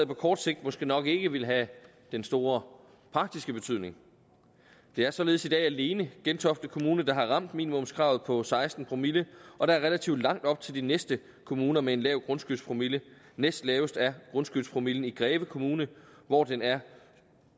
på kort sigt måske nok ikke vil have den store praktiske betydning det er således i dag alene gentofte kommune der har ramt minimumskravet på seksten promille og der er relativt langt op til de næste kommuner med en lav grundskyldspromille næstlavest er grundskyldspromillen i greve kommune hvor den er